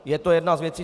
Je to jedna z věcí.